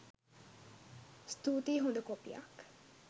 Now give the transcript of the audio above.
ස්තූතියි හොද කොපියක්